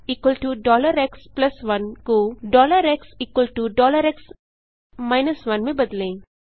xx1 को xx 1 में बदलें